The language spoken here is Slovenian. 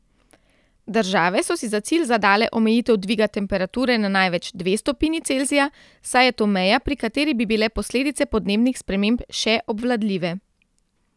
Države so si za cilj zadale omejitev dviga temperature na največ dve stopinji Celzija, saj je to meja, pri kateri bi bile posledice podnebnih sprememb še obvladljive.